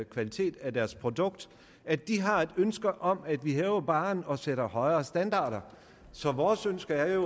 kvalitet af deres produkt at de har et ønske om at vi hæver barren og sætter højere standarder så vores ønske er jo